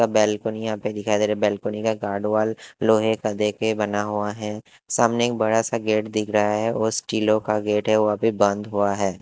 सब बैलकुनि यहाँ पर दिखाई दे रहा है बैलकुनि का गॉर्ड वाल लोहे का देके बना हुआ है सामने एक बड़ा सा गेट दिख रहा है वो स्टीलो का गेट है वो अभी बंद हुआ है।